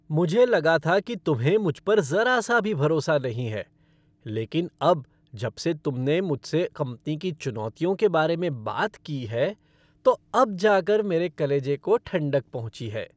मुझे लगा था कि तुम्हें मुझ पर ज़रा सा भी भरोसा नहीं है, लेकिन अब जबसे तुमने मुझसे कंपनी की चुनौतियों के बारे में बात की है, तो अब जाकर मेरे कलेजे को ठंडक पहुँची है।